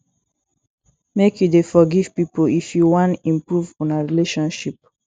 make you dey forgive pipo if you wan improve una relationship